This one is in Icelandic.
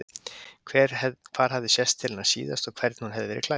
Hvar hefði sést til hennar síðast og hvernig hún hefði verið klædd.